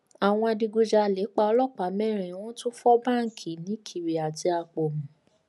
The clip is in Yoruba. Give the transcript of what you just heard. àwọn adigunjalè pa ọlọpàá mẹrin wọn tún fọ báǹkì nìkèrè àti àpọmù